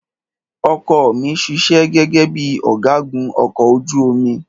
Ọkọ ọ̀ mi ṣiṣẹ́ gẹ́gẹ́ bíi ọ̀gágun ọkọ̀ ojú omi.